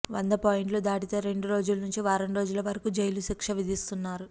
వంద పాయింట్లు దాటితే రెండు రోజుల నుంచి వారం రోజుల వరకు జైలు శిక్ష విధిస్తున్నారు